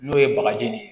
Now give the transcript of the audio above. N'o ye bagaji de ye